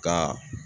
Ka